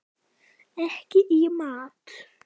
Ekki í mat.